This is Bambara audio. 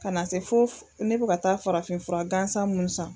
Ka na se fo ne be ka taa farafin fura gansa minnu san